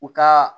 U ka